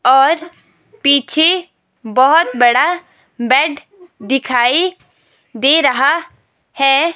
और पीछे बहुत बड़ा बेड दिखाई दे रहा है।